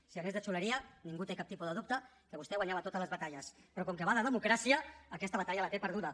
si anés de xuleria ningú té cap tipus de dubte que vostè guanyava totes les batalles però com que va de democràcia aquesta batalla la té perduda